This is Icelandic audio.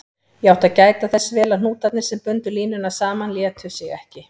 Ég átti að gæta þess vel að hnútarnir, sem bundu línuna saman, létu sig ekki.